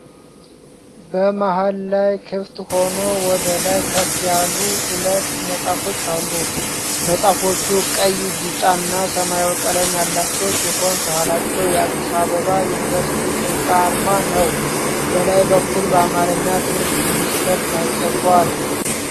በመሃል ላይ ክፍት ሆኖ ወደ ላይ ከፍ ያሉ ሁለት መጽሐፍቶች አሉ። መጽሐፎቹ ቀይ፣ ቢጫ እና ሰማያዊ ቀለም ያላቸው ሲሆን ከኋላቸው የአዲስ አበባ ዩኒቨርሲቲ ህንጻ አርማ ነው። በላይ በኩል በአማርኛ "ትምህርት ሚኒስቴር" ተጽፏል።